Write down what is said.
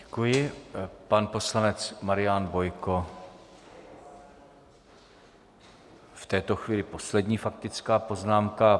Děkuji, pan poslanec Marián Bojko, v této chvíli poslední faktická poznámka.